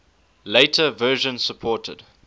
later versions supported